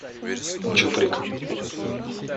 чуприк